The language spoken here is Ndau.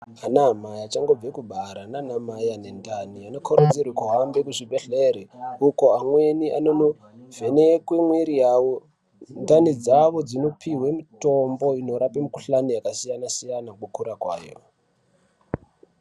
Ana amai achangobva kubara nana mai akazvitakura, anokurudzirwa aende kuzvibhedhlere uko amweni anono vhenekwe mwiri yawo nendani dzawo dzinopihwe mitombo inorapa yengohlani dzakasiyana siyana kukura kwayo.